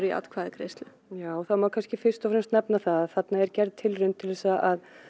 atkvæðagreiðslu já það má kannski fyrst og fremst nefna það að þarna er gerð tilraun til að